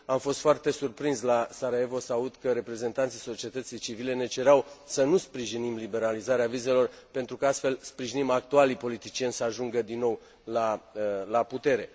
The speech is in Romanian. Am fost foarte surprins la Sarajevo să aud că reprezentanții societății civile ne cereau să nu sprijinim liberalizarea vizelor, pentru că, astfel, sprijinim actualii politicieni să ajungă din nou la putere.